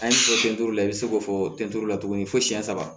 An ye fɔ sen tulu la i be se k'o fɔ tɛntɛri la tuguni fosiɲɛ saba